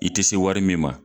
I tɛ se wari min ma